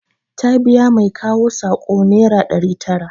Ta biya mai kawo saƙo nera ɗari tara